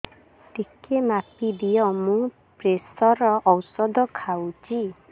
ଟିକେ ମାପିଦିଅ ମୁଁ ପ୍ରେସର ଔଷଧ ଖାଉଚି